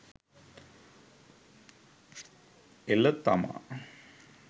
එළ තමා